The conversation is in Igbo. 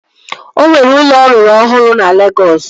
Ọ nwere ụlọ ọ rụrụ ọhụrụ na Legọs